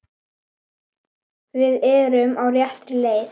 Við erum á réttri leið